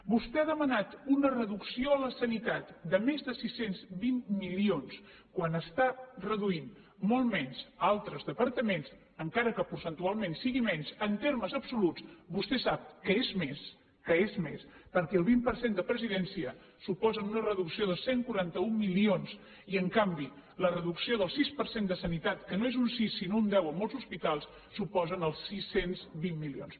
vostè ha demanat una reducció a la sanitat de més de sis cents i vint milions quan n’està reduint molt menys a altres departaments encara que percentualment sigui menys en termes absoluts vostè sap que és més que és més perquè el vint per cent de presidència suposa una reducció de cent i quaranta un milions i en canvi la reducció del sis per cent de sanitat que no és un sis sinó un deu a molts hospitals suposen els sis cents i vint milions